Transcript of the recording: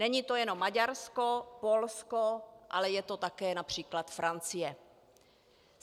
Není to jenom Maďarsko, Polsko, ale je to také například Francie.